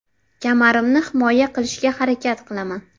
Kamarimni himoya qilishga harakat qilaman.